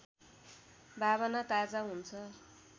भावना ताजा हुन्छ